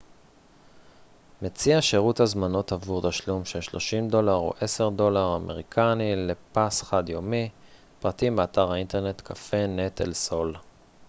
cafenet el sol מציע שירות הזמנות עבור תשלום של 30$ או 10$ דולר אמריקני לפס חד-יומי פרטים באתר האינטרנט